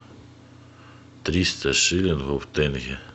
триста шиллингов в тенге